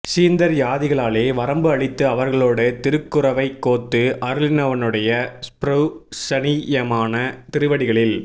ஸுந்தர்யாதிகளாலே வரம்பு அழித்து அவர்களோடே திருக் குரவை கோத்து அருளினவனுடைய ஸ்ப்ருஹணீயமான திருவடிகளில்